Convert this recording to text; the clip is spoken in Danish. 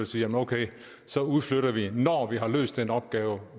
siger okay så udflytter vi når vi har løst den opgave